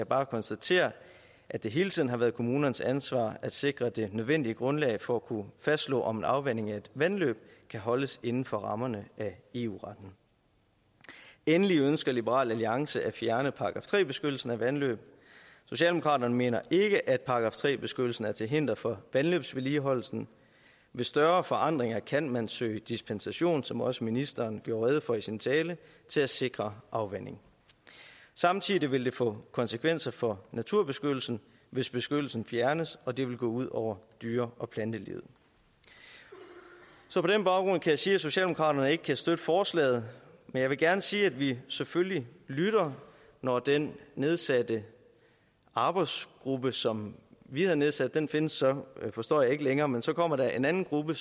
bare konstatere at det hele tiden har været kommunernes ansvar at sikre det nødvendige grundlag for at kunne fastslå om en afvanding af et vandløb kan holdes inden for rammerne af eu retten endelig ønsker liberal alliance at fjerne § tre beskyttelsen af vandløb socialdemokraterne mener ikke at § tre beskyttelsen er til hinder for vandløbsvedligeholdelsen ved større forandringer kan man søge dispensation som også ministeren gjorde rede for i sin tale til at sikre afvanding samtidig vil det få konsekvenser for naturbeskyttelsen hvis beskyttelsen fjernes og det vil gå ud og dyre og plantelivet så på den baggrund kan jeg sige at socialdemokraterne ikke kan støtte forslaget men jeg vil gerne sige at vi selvfølgelig lytter når den nedsatte arbejdsgruppe som vi har nedsat den findes så forstår jeg ikke længere men så kommer der en anden gruppe